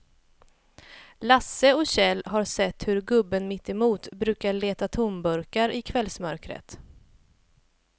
Lasse och Kjell har sett hur gubben mittemot brukar leta tomburkar i kvällsmörkret.